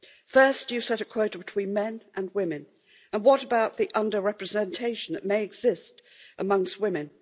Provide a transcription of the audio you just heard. First you set a quota between men and women, and what about the under representation that may exist amongst women?